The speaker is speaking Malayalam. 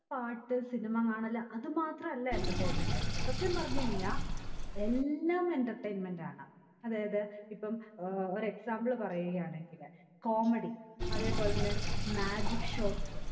പാട്ട് cinema കാണൽ അത് മാത്രല്ല entertainment സത്യം പറഞ്ഞ് കഴിഞ്ഞ എല്ലാം entertainment ആണ് അതായത് ഇപ്പം ഏർ ഒരു example പറയുകയാണെങ്കില് comedy അതെ പോലെ തന്നെ magic shows